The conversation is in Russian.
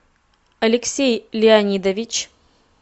алексей леонидович